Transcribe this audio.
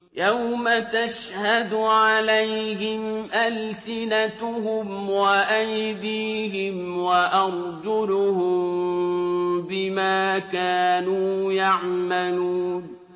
يَوْمَ تَشْهَدُ عَلَيْهِمْ أَلْسِنَتُهُمْ وَأَيْدِيهِمْ وَأَرْجُلُهُم بِمَا كَانُوا يَعْمَلُونَ